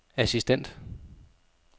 assistent